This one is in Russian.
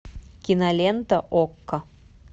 кинолента окко